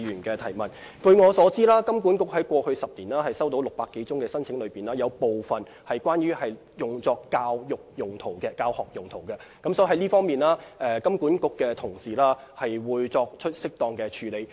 據我所知，金管局在過去10年接獲的600多宗申請中，大部分是用作教育或教學用途，所以金管局在這方面會作出適當處理。